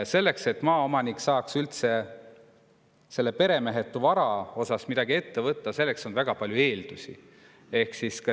Selleks, et maaomanik saaks üldse selle peremehetu varaga midagi ette võtta, on väga palju eeldusi.